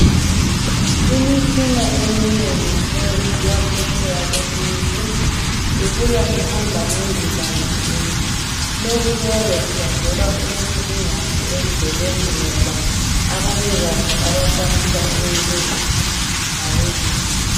Imitshina eminengi eyenziwa phetsheya kwelizwe ibuya ihamba ngendizamtshina. Lokhu kuyabe kusenzelwa ukuthi ingafi endleleni ngoba abanikazi abakwanisa ukuyilungisa ngabelungu.